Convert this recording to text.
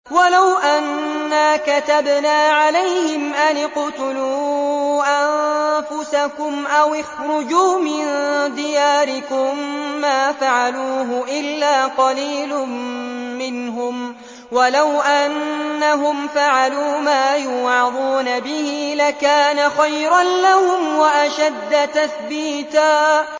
وَلَوْ أَنَّا كَتَبْنَا عَلَيْهِمْ أَنِ اقْتُلُوا أَنفُسَكُمْ أَوِ اخْرُجُوا مِن دِيَارِكُم مَّا فَعَلُوهُ إِلَّا قَلِيلٌ مِّنْهُمْ ۖ وَلَوْ أَنَّهُمْ فَعَلُوا مَا يُوعَظُونَ بِهِ لَكَانَ خَيْرًا لَّهُمْ وَأَشَدَّ تَثْبِيتًا